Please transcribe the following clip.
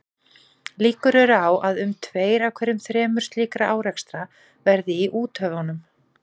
Líkur eru á að um tveir af hverju þremur slíkra árekstra verði í úthöfunum.